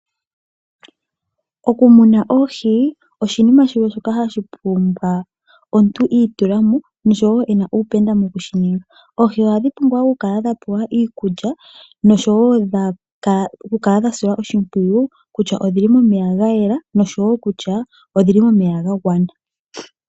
Oku muna oohi oshinima shimwe shoka hashi pumbwa omuntu itulamo noshowo ena uupenda moku shininga. Oohi ohadhi pumbwa oku kala dha pewa iikulya noshowo oku kala dha silwa oshimpwiyu kutya odhili momeya ga yela noshowo kutya odhili momeya ga gwana.